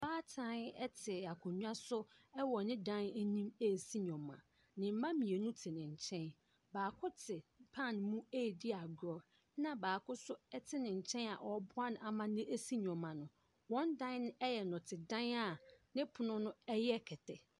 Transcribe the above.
Ɔbaatan te akonnwa so wɔ ne dan anim resi nneɛma. Ne mma mmienu te ne nkyɛn. Baako te pan mu redi agorɔ, ɛnna baako nso te ne nkyɛn a ɔreboa no ama no asi nneɛma no. Wɔn da yɛ nnɔtedan a ne pono no yɛ kɛtɛ.